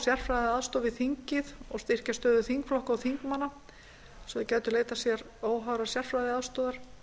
sérfræðiaðstoð við þingið og styrkja stöðu þingflokka og þingmanna svo þeir gætu leitað sér óháðrar sérfræðiaðstoðar